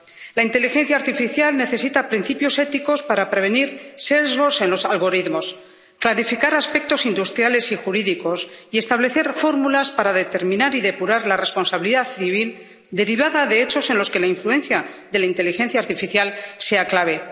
La inteligencia artificial necesita principios éticos para prevenir sesgos en los algoritmos, clarificar aspectos industriales y jurídicos y establecer fórmulas para determinar y depurar la responsabilidad civil derivada de hechos en los que la influencia de la inteligencia artificial sea clave.